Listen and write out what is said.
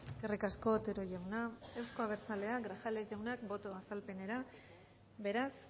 eskerrik asko otero jauna euzko abertzaleak grajales jaunak boto azalpenera beraz